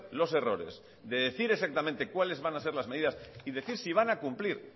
los errores de decir exactamente cuáles van a ser las medidas y decir si van a cumplir